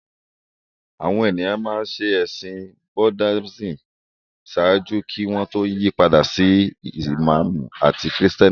Àwọn ènìyàn ṣe ẹ̀sìn bíi Buddhism ṣáájú kí wọ́n tó yí padà sí Ìsìlámù àti Kìrìtẹ́nì